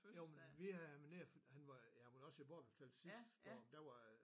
Jo men vi havde ham nede og han var han var Borbjerg sidste år men der var